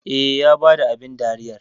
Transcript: Eh, Ya bada abin dariyar